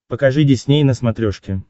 покажи дисней на смотрешке